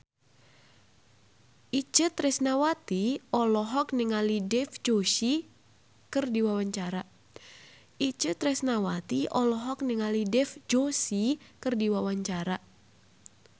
Itje Tresnawati olohok ningali Dev Joshi keur diwawancara